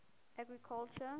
agriculture